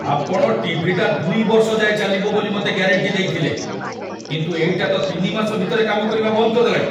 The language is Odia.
ଆପଣ ଟି.ଭି. ଟା ୨ ବର୍ଷ ଯାଏଁ ଚାଲିବ ବୋଲି ମତେ ଗ୍ୟାରେଣ୍ଟି ଦେଇଥିଲେ, କିନ୍ତୁ ଏଇଟା ତ ୩ ମାସ ଭିତରେ କାମ କରିବା ବନ୍ଦ କରିଦେଲାଣି!